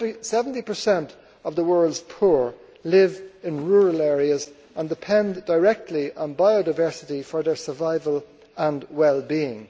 Seventy per cent of the world's poor live in rural areas and depend directly on biodiversity for their survival and well being.